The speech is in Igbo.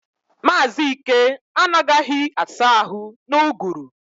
Mazi Ike anagahi asa ahu na-uguru